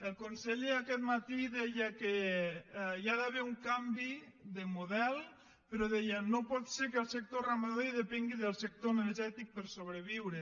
el conseller aquest matí deia que hi ha d’haver un canvi de model però deia no pot ser que el sector ramader depengui del sector energètic per sobreviure